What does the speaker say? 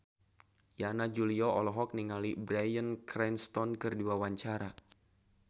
Yana Julio olohok ningali Bryan Cranston keur diwawancara